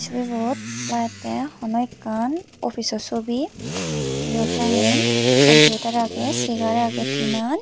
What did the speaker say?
churibot laettey hono ekkan opij o sobi iyot nahi computer agey segar agey tinan.